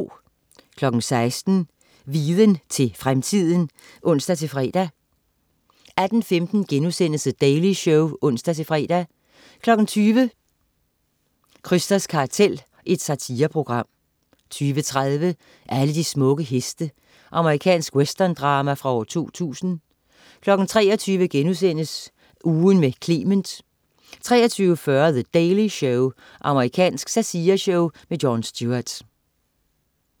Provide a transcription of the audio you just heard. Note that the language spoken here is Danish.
16.00 Viden til fremtiden (ons-fre) 18.15 The Daily Show* (ons-fre) 20.00 Krysters kartel. Satireprogram 20.30 Alle de smukke heste. Amerikansk westerndrama fra 2000 23.00 Ugen med Clement* 23.40 The Daily Show. Amerikansk satireshow. Jon Stewart